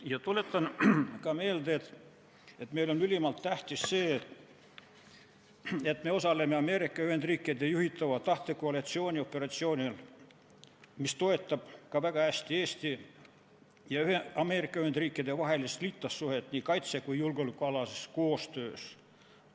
Ja tuletan ka meelde, et meil on ülimalt tähtis see, et me osaleme Ameerika Ühendriikide juhitava tahtekoalitsiooni operatsioonil, mis toetab ka väga hästi Eesti ja Ameerika Ühendriikide vahelist liitlassuhet nii kaitse- kui ka julgeolekukoostöös.